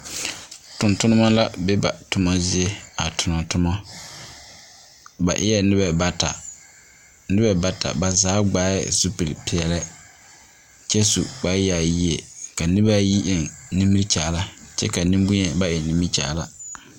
Tontonema la be ba toma zie a tona toma. Ba eɛ noba bat aba zaa gbaɛ zupili peɛle kyɛ su kpare yaayie. Ka noba ayi eŋ nimikyaara kyɛ nemboŋyeni ba eŋnimikyaara.